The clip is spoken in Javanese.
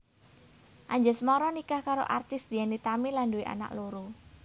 Anjasmara nikah karo aktris Dian Nitami lan nduwé anak loro